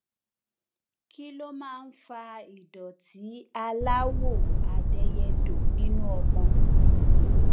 kí ló máa ń fa ìdòtí aláwò adẹyẹdò nínú ọmọ